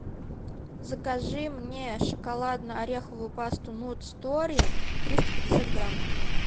закажи мне шоколадно ореховую пасту нут стори триста пятьдесят грамм